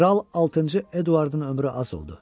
Kral altıncı Eduardın ömrü az oldu.